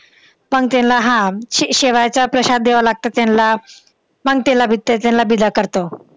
पण तेंना हा शेवयाचा प्रशाद द्यावं लागतं तेंला. मग तेंला बिदा करतो.